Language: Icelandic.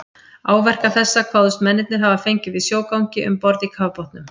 Áverka þessa kváðust mennirnir hafa fengið í sjógangi um borð í kafbátnum.